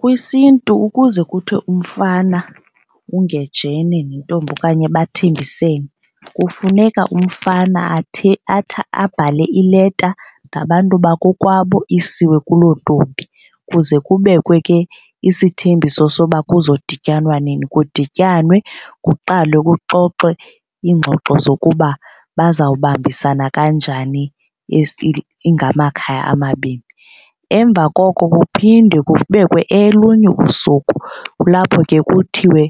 KwisiNtu ukuze kuthiwe umfana ungejene nentombi okanye bathembisene kufuneka umfana abhale ileta ngabantu bakokwabo isiwe kuloo ntombi kuze kubekwe ke isithembiso soba kuzodityanwa nini. Kudityanwe kuqalwe kuxoxwe iingxoxo zokuba bazawubambisana kanjani ingamakhaya amabini. Emva koko kuphinde kubekwe elunye usuku kulapho ke kuthiwe